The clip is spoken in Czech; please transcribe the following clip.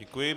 Děkuji.